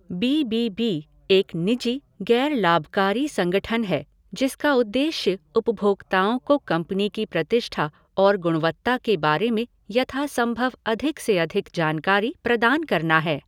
B B B एक निजी, गैर लाभकारी संगठन है जिसका उद्देश्य उपभोक्ताओं को कंपनी की प्रतिष्ठा और गुणवत्ता के बारे में यथासंभव अधिक से अधिक जानकारी प्रदान करना है।